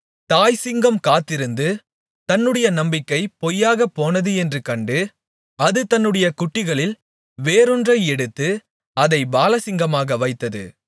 தாய்ச்சிங்கம் காத்திருந்து தன்னுடைய நம்பிக்கை பொய்யாகப் போனது என்று கண்டு அது தன்னுடைய குட்டிகளில் வேறொன்றை எடுத்து அதை பாலசிங்கமாக வைத்தது